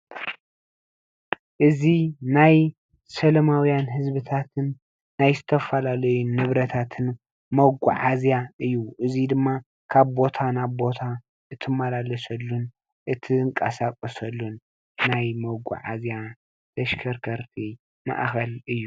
እዚ ናይ ሰላማውያን ህዝቢታትን ናይ ዝተፈላለዩ ንብረታትን መጓዓዝያ እዩ እዙይ ድማ ካብ ቦታ ናብ ቦታ እትመላለሰሉ ን እትንቀሳቀሰሉን ናይ መጓዓዝያ ተሽከርከርቲ ማእከል እዩ።